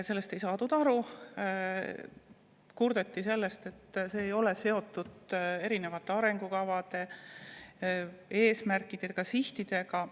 Sellest ei saadud aru, kurdeti selle üle, et see ei ole seotud arengukavade, eesmärkide ja sihtidega.